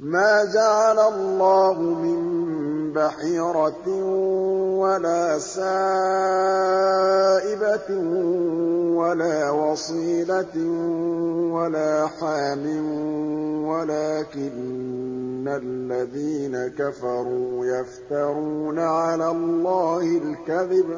مَا جَعَلَ اللَّهُ مِن بَحِيرَةٍ وَلَا سَائِبَةٍ وَلَا وَصِيلَةٍ وَلَا حَامٍ ۙ وَلَٰكِنَّ الَّذِينَ كَفَرُوا يَفْتَرُونَ عَلَى اللَّهِ الْكَذِبَ ۖ